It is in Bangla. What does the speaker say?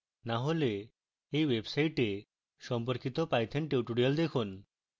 না হলে এই website সম্পর্কিত python tutorials দেখুন